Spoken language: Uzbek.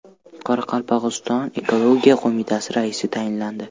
Qoraqalpog‘iston Ekologiya qo‘mitasi raisi tayinlandi.